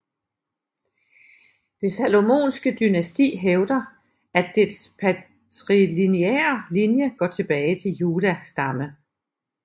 Det salomonske dynasti hævder at dets patrilineære linje går tilbage til Juda stamme